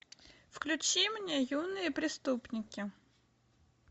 включи мне юные преступники